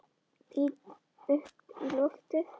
Lít upp í loftið.